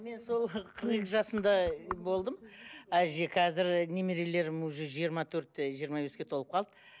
мен сол қырық екі жасымда болдым әже қазір немерелерім уже жиырма төртте жиырма беске толып қалды